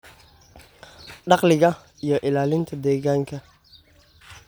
dakhliga, iyo ilaalinta deegaanka.